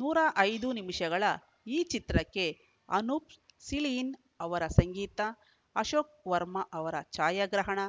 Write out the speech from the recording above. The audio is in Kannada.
ನೂರ ಐದು ನಿಮಿಷಗಳ ಈ ಚಿತ್ರಕ್ಕೆ ಅನೂಪ್‌ ಸಿಳೀನ್‌ ಅವರ ಸಂಗೀತ ಅಶೋಕ್‌ ವರ್ಮಾ ಅವರ ಛಾಯಾಗ್ರಹಣ